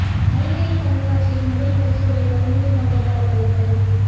அறிவியல் கண்காட்சியில் முதல் பரிசுகளை பகிர்ந்து கொண்ட பல பள்ளிகள்